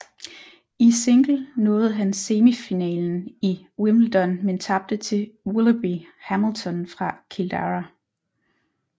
I single nåede han semifinalen i Wimbledon men tabte til Willoughby Hamilton fra Kildare